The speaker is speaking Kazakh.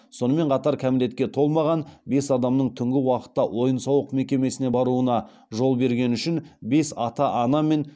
сонымен қатар кәмелетке толмаған бес адамның түнгі уақытта ойын сауық мекемесіне баруына жол бергені үшін бес ата ана мен